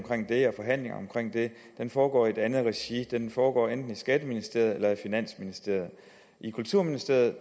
den foregår i et andet regi den foregår enten i skatteministeriet eller i finansministeriet i kulturministeriet